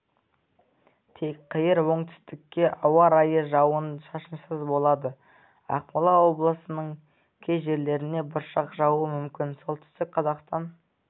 тек қиыр оңтүстікте ауа райы жауын-шашынсыз болады ақмола облысының кей жерлерінде бұршақ жаууы мүмкін солтүстік қазақстан